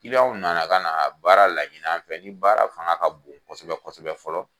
anw na na ka na baara laɲini a fɛ ni baara fanga ka bon kosɛbɛ kosɛbɛ fɔlɔ